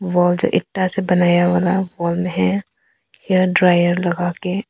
से बनाया वाला वाल में है ड्रायर लगाके।